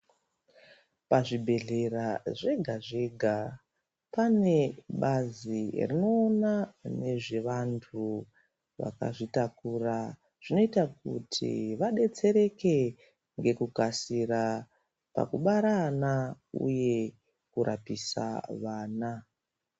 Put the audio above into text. Pazvibhedhlera zvega zvega pane bazi rinoona nezvevanhu vakazvitakura zvinoita kuti vadetsereke nekukasira pakubara ana uye pakurapisa vana.